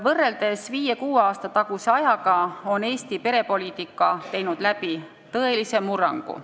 Võrreldes 5–6 aasta taguse ajaga on Eesti perepoliitika teinud läbi tõelise murrangu.